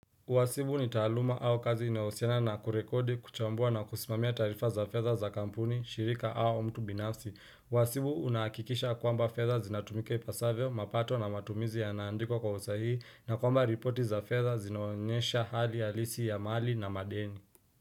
Wasibu ni taluma au kazi inaosiana na kurekodi, kuchambua na kusimamia tarifa za fedha za kampuni, shirika au mtu binafsi. Wasibu unakikisha kwamba fedha zinatumika ipasavio, mapato na matumizi yanaandikwa kwa usahii, na kwamba ripoti za fedha zinaonyesha hali ya halisi ya mali na madeni.